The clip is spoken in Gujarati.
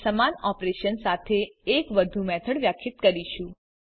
આપણે સમાન ઓપરેશન સાથે એક વધુ મેથડ વ્યાખ્યિત કરીશું